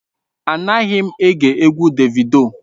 Anaghị m ege egwu Davido.